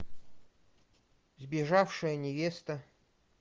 сбежавшая невеста